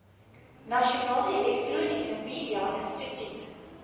nasionale elektroniese mediainstituut